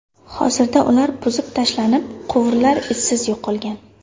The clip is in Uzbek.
Hozirda ular buzib tashlanib, quvurlar izsiz yo‘qolgan.